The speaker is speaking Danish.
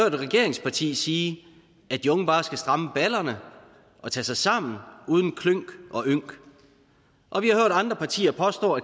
et regeringsparti sige at de unge bare skal stramme balderne og tage sig sammen uden klynk og ynk og vi har hørt andre partier påstå